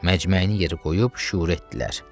Məcməyini yerə qoyub şüur etdilər.